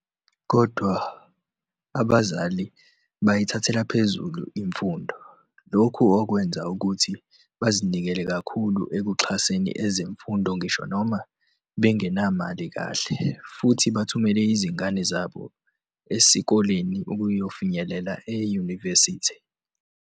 Kodwa abazali bayithathela phezulu imfundo, lokhu okwenza ukuthi bazinikele kakhulu ekuxhaseni ezemfundo ngisho noma bengenamali kahle, futhi bathumela izingane zabo esikoleni ukuyofinyelela eyunivesithi.